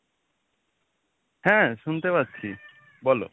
হ্যাঁ শুনতে পাচ্ছি বলো,